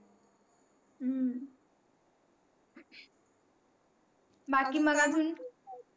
हम्म बाकी मग आजून?